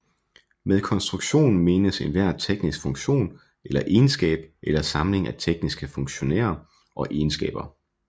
Med konstruktion menes enhver teknisk funktion eller egenskab eller samling af tekniske funktionerer og egenskaber